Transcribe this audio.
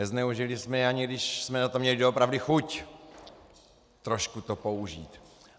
Nezneužili jsme je, ani když jsme na to měli doopravdy chuť trošku to použít.